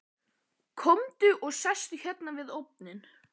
Komdu og sestu hérna við ofninn.